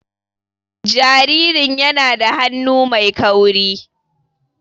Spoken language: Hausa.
Jaririn yana da hannu mai kauri.